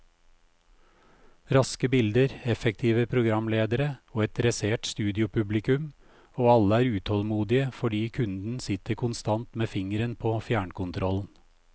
Raske bilder, effektive programledere og et dressert studiopublikum, og alle er utålmodige fordi kunden sitter konstant med fingeren på fjernkontrollen.